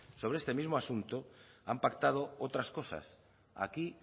sobre este mismo asunto han pactado otras cosas aquí